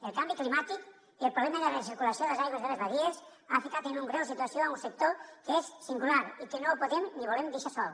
el canvi climàtic i el problema de la recirculació de les aigües de les badies ha ficat en una greu situació un sector que és singular i que no podem ni volem deixar sol